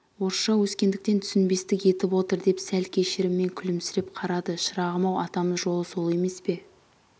орысша өскендіктен түсінбестік етіп отыр деп сәл кешіріммен күлімсіреп қарады шырағым-ау атамыз жолы сол емес пе